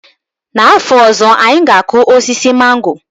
N'afọ ọzọ, anyị ga-akụ osisi mango.